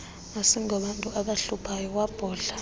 asingobantu abahluphayo wabhodla